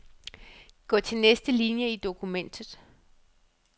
Gå til næste linie i dokumentet.